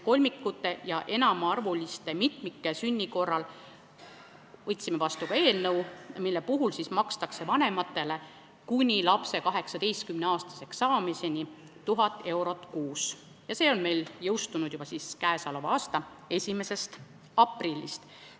Kolmikute ja enamaarvuliste mitmike sünni korral makstakse vanematele kuni lapse 18-aastaseks saamiseni tuhat eurot kuus, see jõustus juba k.a 1. aprillist.